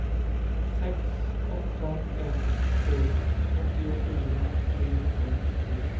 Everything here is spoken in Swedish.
sex åtta ett sju åttiofyra trehundranittiofyra